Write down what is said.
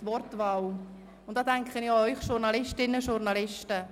Es geht um die Wortwahl, und da denke ich auch an Sie, Journalistinnen und Journalisten.